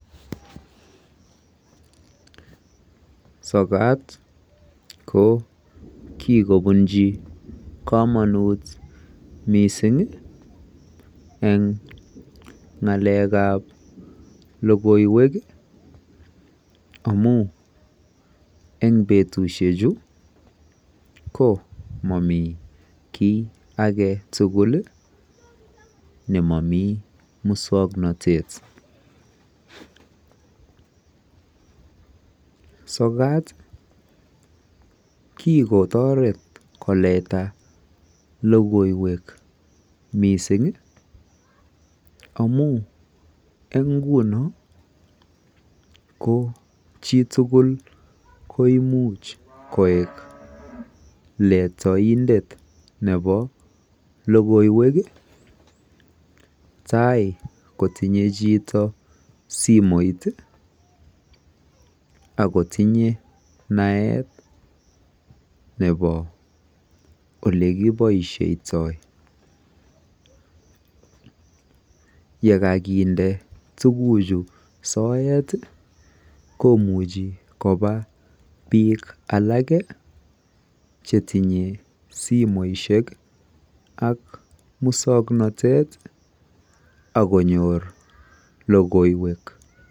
Sokat ko kikobunjii kamanut missing ii eng ngalek ab logoiywek ii amuun eng betusiek chuu komamii kiy age tugul ii nemamiiten musangnatet sokat kikotaret ko leta logoiywek missing ii amuun eng nguno ko chii tugul koimuuch koek letaindet nebo logoiywek ii tai kotindoi chitoo simoit ii ako tinye naet nebo ole kibaishaitoi ye kakinde tuguuk chuu soet ii komuchii kobaa biik alake chetinyei simoisiek ak musangnatet ak konyoor logoiywek.